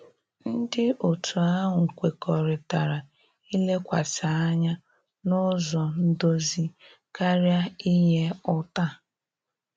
Ndị otu ahụ kwekọrịtara ilekwasị anya n'ụzọ ndozi karịa inye ụta.